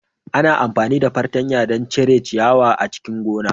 Ana amfani da fartanya don cire ciyawa a cikin gona.